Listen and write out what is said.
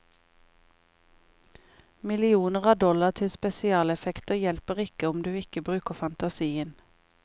Millioner av dollar til spesialeffekter hjelper ikke om du ikke bruker fantasien.